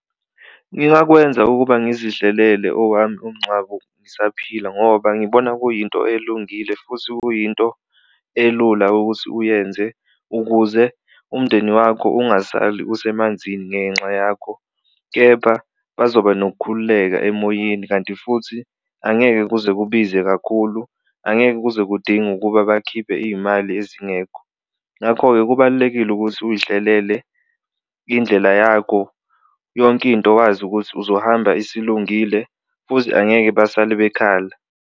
Ngingakwenza ukuba ngizihlelele owami umncwabo ngisaphila ngoba ngibona kuyinto elungile futhi kuyinto elula ukuthi uyenze ukuze umndeni wakho ungasali usemanzini ngenxa yakho, kepha bazoba nokukhululeka emoyeni kanti futhi angeke kuze kubize kakhulu, angeke kuze kudinge ukuba bakhiphe iy'mali ezingekho. Ngakho-ke kubalulekile ukuthi uy'hlelele indlela yakho yonke into wazi ukuthi uzohamba isilungile futhi angeke basale bekhala.